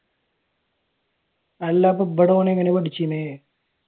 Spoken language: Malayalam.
അല്ല അപ്പ ഇവിടെ ഓൻ എങ്ങനെ പഠിച്ചീന്?